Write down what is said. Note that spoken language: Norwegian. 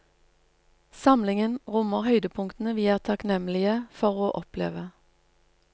Samlingen rommer høydepunkter vi er takknemlige for å oppleve.